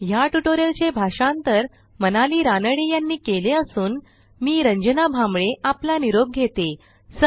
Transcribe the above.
ह्या ट्युटोरियलचे भाषांतर मनाली रानडे यांनी केले असून मी रंजना भांबळे आपला निरोप घेते160